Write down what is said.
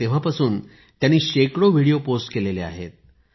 तेव्हापासून त्यांनी शेकडो व्हिडिओ पोस्ट केले आहेत